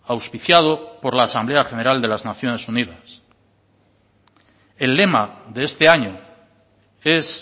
auspiciado por la asamblea general de las naciones unidas el lema de este año es